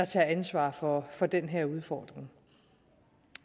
tager ansvar for for den her udfordring